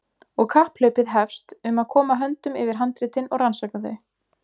Og kapphlaupið hefst um að koma höndum yfir handritin og rannsaka þau.